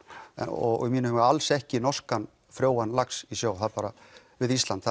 og í mínum huga alls ekki norskan frjóan lax í sjó við Ísland